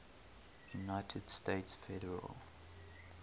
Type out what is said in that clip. united states federal